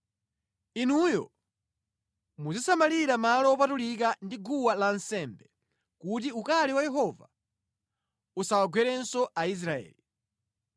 “Inuyo muzisamalira malo wopatulika ndi guwa lansembe, kuti ukali wa Yehova usawagwerenso Aisraeli.